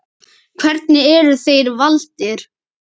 Hvernig eru þeir valdir?